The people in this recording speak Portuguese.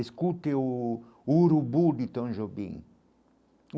Escute o o Urubu de Tom Jobim.